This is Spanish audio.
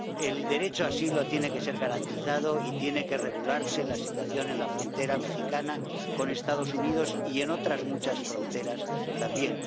El derecho de asilo tiene que ser garantizado y tiene que regularse la situación en la frontera mexicana con Estados Unidos, y en otras muchas fronteras también.